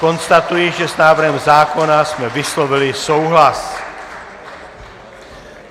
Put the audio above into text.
Konstatuji, že s návrhem zákona jsme vyslovili souhlas.